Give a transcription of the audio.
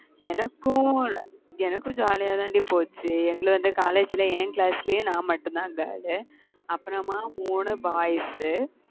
எனக்கும் எனக்கும் jolly யா தாண்டி போச்சு எங்களை வந்து college ல என் class லயே நான் மட்டும்தான் girl உ அப்புறமா மூணு boys உ